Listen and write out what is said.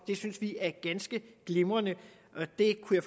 synes vi er ganske glimrende det kunne